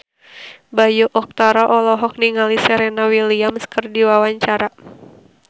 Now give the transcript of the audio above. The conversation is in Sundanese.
Bayu Octara olohok ningali Serena Williams keur diwawancara